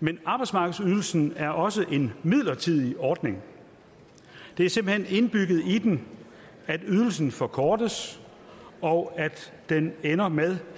men arbejdsmarkedsydelsen er også en midlertidig ordning det er simpelt hen indbygget i den at ydelsen forkortes og at den ender med